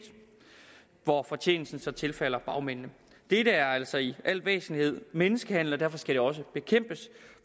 hvor fortjenesten så tilfalder bagmændene det er altså i al væsentlighed menneskehandler og derfor skal det også bekæmpes